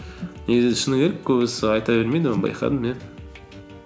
негізі шыны керек көбісі айта бермейді оны байқадым иә